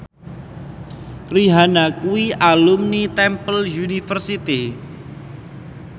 Rihanna kuwi alumni Temple University